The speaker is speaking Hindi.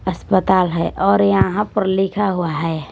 अस्पताल है और यहां पर लिखा हुआ है।